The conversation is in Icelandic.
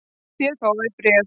Þér fáið bréf!